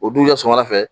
O dun kɛ sɔgɔmada fɛ